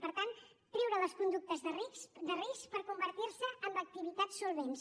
per tant treure les conductes de risc per convertir se en activitats solvents